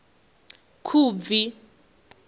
khubvi